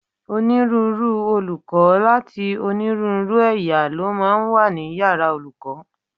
Onírúurú olùkọ́ láti onírúurú ẹ̀yà ló máa ń wà ní yàrá olùkọ́